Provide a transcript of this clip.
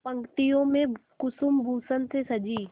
पंक्तियों में कुसुमभूषण से सजी